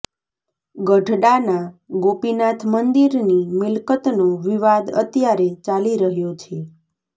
ગઢડાના ગોપીનાથ મંદિરની મિલકતનો વિવાદ અત્યારે ચાલી રહ્યો છે